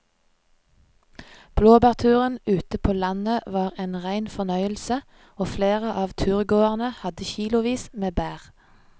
Blåbærturen ute på landet var en rein fornøyelse og flere av turgåerene hadde kilosvis med bær.